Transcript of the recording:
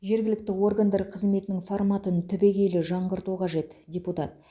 жергілікті органдар қызметінің форматын түбегейлі жаңғырту қажет депутат